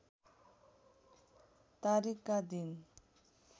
तारिकका दिन